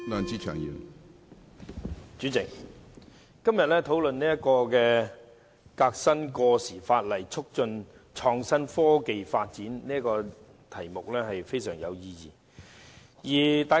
主席，今天討論"革新過時法例，促進創新科技發展"議案是非常有意義的。